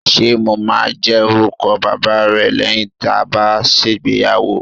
Ṣé mo máa jẹ́ orúkọ bàbá rẹ lẹ́yìn tá a bá ṣègbéyàwó?